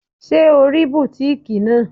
Ṣé o rí bùtíkìì náà?